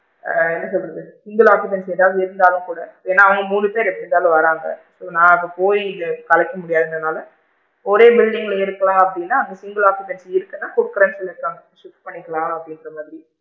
ஆ என்ன சொல்றது single occupancy ஏதாவது இருந்தாலும் கூட ஏன்னா அவுங்க மூணு பேரு எப்படி இருந்தாலும் வராங்க so நான் இப்ப போயி கலைக்க முடியாதுன்க்ரனால ஒரே building ல இருக்கேன் அப்படின்னா single occupancy இருக்குன்னா குடுக்குறேன்னு சொல்லி இருக்காங்க check பண்ணிக்கலாம் அப்படிங்கற மாதிரி,